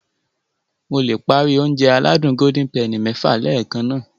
Mo le páári Ounjẹ aládùn Golden penny lẹ́ẹ̀kan